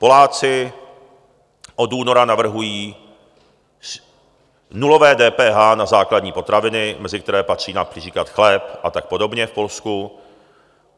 Poláci od února navrhují nulové DPH na základní potraviny, mezi které patří například chléb a tak podobně v Polsku.